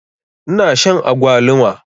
Ina shan agwaluma.